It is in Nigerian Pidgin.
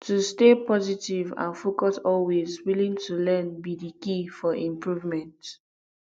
to stay positive and focus always willing to learn be di key for improvement